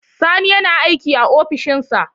Sani yana aiki a ofishin sa.